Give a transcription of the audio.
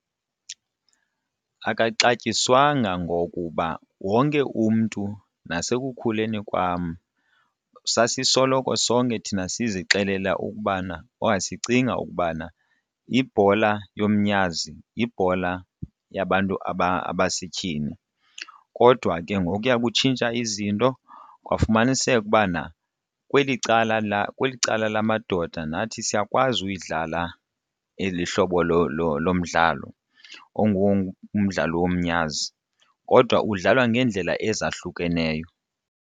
Akaxatyiswanga ngokuba wonke umntu nasekukhuleni kwam sasisoloko sonke thina sizixelela ukubana okanye asicingi ukubana yibhola yomnyazi yibhola yabantu abasetyhini kodwa ke ngokuya kutshintsha izinto kwafumaniseka ukubana kweli cala kweli cala lamadoda nathi siyakwazi uyidlala eli hlobo lomdlalo ongumdlalo womnyazi kodwa udlalwa ngeendlela ezahlukeneyo.